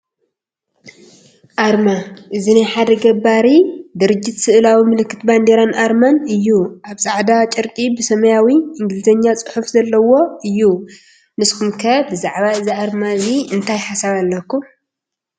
ኣርማ፡- እዚ ናይ ሓደ ገባሪ ድርጅት ስእላዊ ምልክት ባንዴራን ኣርማን እዩ፡፡ ኣብ ፃዕዳ ጨርቂ ብሰማያዊ ኢንግሊዝኛ ፅሑፍ ዘለዎ እዩ፡፡ ንስኹም ከ ብዛዕባ እዚ ኣርማ እዚ እንታይ ሓሳብ ኣለኩም?